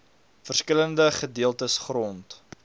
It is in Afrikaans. verskillende gedeeltes grond